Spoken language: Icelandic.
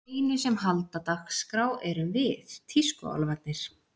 Þeir einu sem halda dagskrá erum við tískuálfarnir.